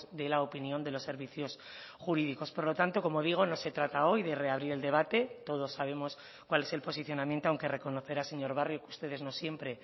de la opinión de los servicios jurídicos por lo tanto como digo no se trata hoy de reabrir el debate todos sabemos cuál es el posicionamiento aunque reconocerá señor barrio que ustedes no siempre